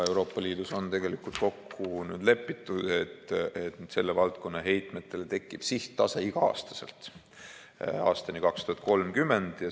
Euroopa Liidus on nüüd kokku lepitud, et selle valdkonna heitmetel tekib sihttase iga-aastaselt aastani 2030.